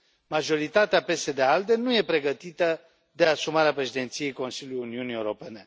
Majoritatea PSD ALDE nu este pregătită de asumarea președinției Consiliului Uniunii Europene.